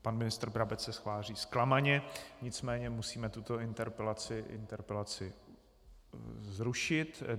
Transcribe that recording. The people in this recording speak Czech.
Pan ministr Brabec se tváří zklamaně, nicméně musíme tuto interpelaci zrušit.